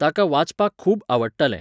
ताका वाचपाक खूब आवडटालें.